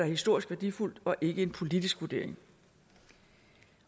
historisk værdifuldt og ikke en politisk vurdering